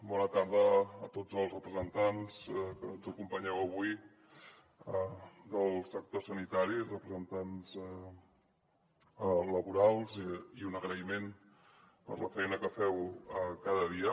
bona tarda a tots els representants que ens acompanyeu avui del sector sanitari representants laborals i un agraïment per la feina que feu cada dia